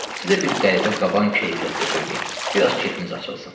Sizə bir qəribə qaban keyfiyyətdə söyləyim, biraz kefimiz açılsın.